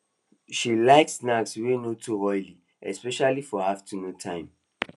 she like snacks wey no too oily especially for afternoon time